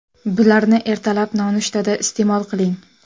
Bularni ertalab nonushtada iste’mol qiling.